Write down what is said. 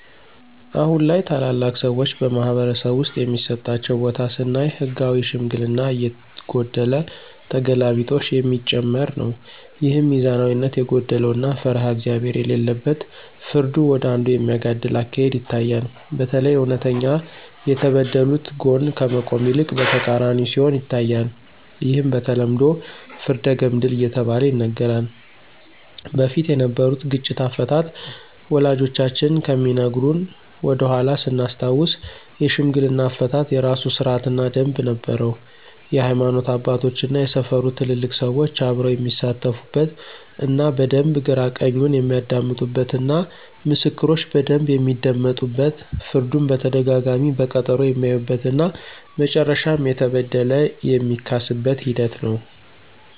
አሁን ላይ ታላላቅ ሰዎች በማኅበረሰብ ውስጥ የሚሰጣቸው ቦታ ስናይ ህጋዊ ሽምግልና እየጎደለ ተገላቢጦሽ የሚጨመር ነው። ይህም ሚዛናዊነት የጎደለው እና ፈሪሃ እግዚአብሄር የሌለበት ፍርዱ ወደ አንዱ የሚያጋድል አካሄድ ይታያል። በተለይ እውነተኛ ከተበደሉት ጎን ከመቆም ይልቅ በተቃራኒው ሲሆን ይታያል። ይህም በተለምዶ ፍርደ ገምድል እየተባለ ይነገራል። በፊት የነበሩት ግጭት አፈታት ወላጆቻችን ከሚነግሩን ወደኃላ ስናስታውስ የሽምግልና አፈታት የራሱ ስርአት እና ደምብ ነበረው የሀይማኖት አባቶች እና የሰፈሩ ትልልቅ ሰዎች አብረው የሚሳተፉበት እና በደንብ ግራ ቀኙን የሚያደምጡበት እና ምስክሮች በደንብ የሚደመጡበት ፍርዱን በተደጋጋሚ በቀጠሮ የሚያዩበት እና መጨረሻም የተበደለ የሚካስበት ሂደት ነው።